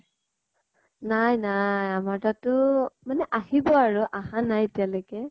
নাই নাই। আমাৰ তাতো মানে আহিব আৰু আহা নাই এতিয়ালৈকে